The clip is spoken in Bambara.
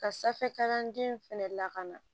Ka sanfɛ kalanden fɛnɛ lakana